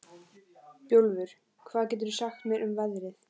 Bjólfur, hvað geturðu sagt mér um veðrið?